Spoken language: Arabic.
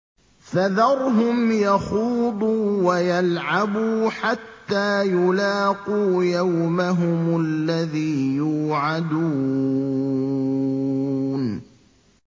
فَذَرْهُمْ يَخُوضُوا وَيَلْعَبُوا حَتَّىٰ يُلَاقُوا يَوْمَهُمُ الَّذِي يُوعَدُونَ